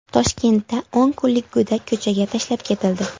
Toshkentda o‘n kunlik go‘dak ko‘chaga tashlab ketildi.